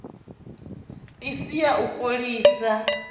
i si ya u fholisa